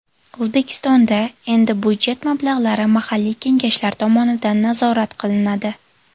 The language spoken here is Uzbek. O‘zbekistonda endi budjet mablag‘lari mahalliy kengashlar tomonidan nazorat qilinadi.